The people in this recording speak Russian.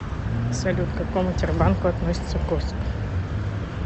салют к какому тербанку относится курск